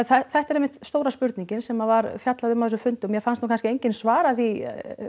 þetta er einmitt stóra spurningin sem var fjallað um á þessum fundi og mér fannst nú kannski enginn svara því